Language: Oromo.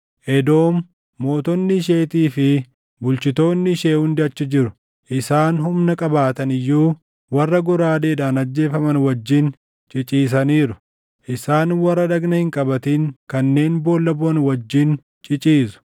“Edoom, mootonni isheetii fi bulchitoonni ishee hundi achi jiru; isaan humna qabaatan iyyuu, warra goraadeedhaan ajjeefaman wajjin ciciisaniiru. Isaan warra dhagna hin qabatin kanneen boolla buʼan wajjin ciciisu.